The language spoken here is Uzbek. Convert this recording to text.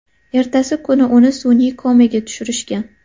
Ertasi kuni uni sun’iy komaga tushirishgan.